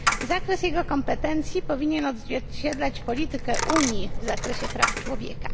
Zakres jego kompetencji powinien odzwierciedlać politykę Unii w zakresie praw człowieka.